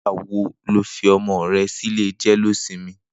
Nigbà wó ló fi ọmọ rè si ilé jẹléósìmì?